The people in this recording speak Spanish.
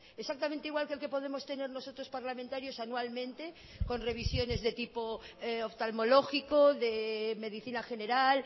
exactamente igual que el que podemos tener nosotros parlamentarios anualmente con revisiones de tipo oftalmológico de medicina general